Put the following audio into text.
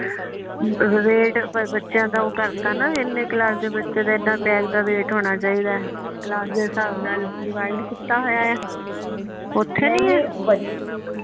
VAT ਬੱਚਿਆਂ ਦਾ ਓ ਕਰਤਾ ਨਾ ਇਹਨੇ ਕਲਾਸ ਦੇ ਬੱਚੇ ਦਾ ਇਹਨਾਂ ਬੈੱਗ ਦਾ ਵੈਟ ਹੋਣਾ ਚਾਹੀਦਾ ਏ, ਕਲਾਸ ਦੇ ਹਿਸਾਬ ਨਾਲ ਡੀਵਾਈਡ ਕੀਤਾ ਹੋਇਆ ਆ ਉੱਥੇ ਨਹੀਂ ਏ